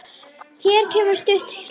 Hér kemur stutt hlé.